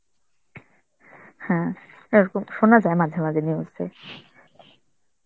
হ্যাঁ, এরকম শোনা যায় মাঝে মাঝে news এ.